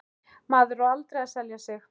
Maður á aldrei að selja sig.